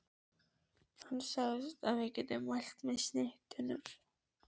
Hann sagðist geta mælt með snittunum.